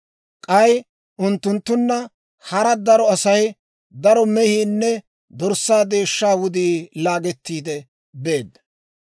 K'ay unttunttunna hara daro asay, daro mehiinne dorssaa deeshshaa wudii laagettiide beedda.